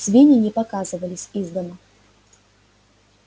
свиньи не показывались из дома